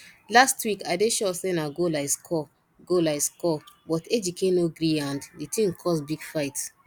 last week i dey sure say na goal i score goal i score but ejike no greeand the thing cause big fight